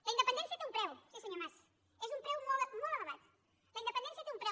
la independència té un preu sí senyor mas és un preu molt elevat la independència té un preu